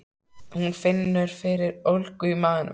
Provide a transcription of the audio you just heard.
Hún finnur fyrir ólgu í maganum.